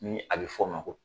Ni a bɛ fɔ o ma ko